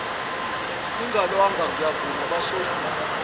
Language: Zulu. singalwanga ngiyavuma basolile